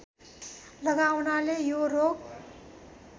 लगाउनाले यो रोग